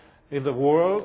guy in the world.